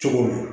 Cogo min